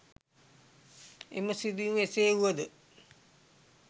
එම සිදුවීම එසේ වූව ද